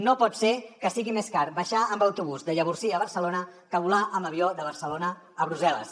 no pot ser que sigui més car baixar amb autobús de llavorsí a barcelona que volar amb avió de barcelona a brussel·les